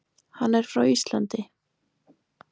Hann er frá Íslandi.